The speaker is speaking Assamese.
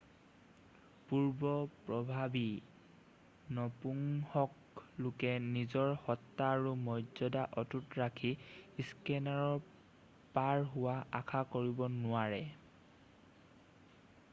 পূৰ্ব প্ৰভাৱী নপুংসক লোকে নিজৰ সত্তা আৰু মৰ্যদা অটুট ৰাখি স্কেনাৰৰ পাৰ হোৱা আশা কৰিব নোৱাৰে